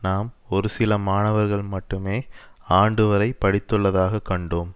நாம் ஒரு சில மாணவர்கள் மட்டுமே ஆண்டு வரை படித்துள்ளதாகக் கண்டோம்